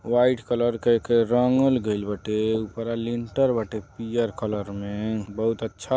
White colour के एके रंगल गईल बाटे। उपरा लिनटर बाटे पीयर कलर